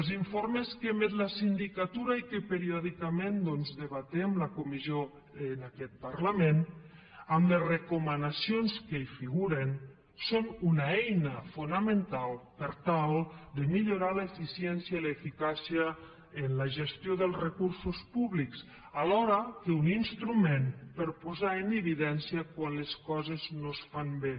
els informes que emet la sindicatura i que periòdicament doncs debatem la comissió en aquest parlament amb les recomanacions que hi figuren són una eina fonamental per tal de millorar l’eficiència i l’eficàcia en la gestió dels recursos públics alhora que un instrument per a posarho en evidència quan les coses no es fan bé